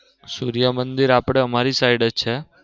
સૂર્ય મંદિર આપડે અમારી side જ છે.